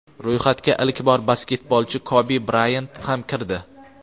Ro‘yxatga ilk bor basketbolchi Kobi Brayant ham kirdi.